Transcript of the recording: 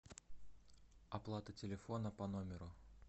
оплата телефона по номеру